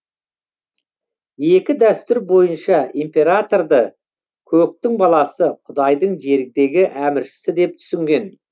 екі дәстүр бойынша императорды көктің баласы құдайдың жердегі әміршісі деп түсінген